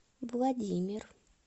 владимир